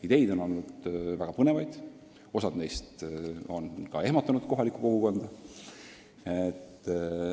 Ideid on olnud väga põnevaid, osa neist on kohalikku kogukonda ehmatanud.